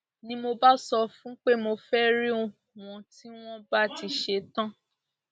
ni mo bá sọ fún pé mo fẹẹ rí wọn tí wọn bá ti ṣẹtàn